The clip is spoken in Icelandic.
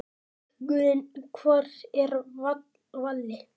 Bækurnar Hvar er Valli?